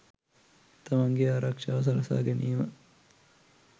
තමන්ගේ ආරක්ෂාව සලසා ගැනීම